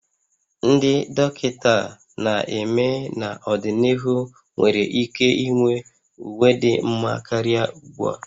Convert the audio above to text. Ndị dọkịta na-eme n'ọdịnihu nwere ike inwe uwe dị mma karịa ugbu a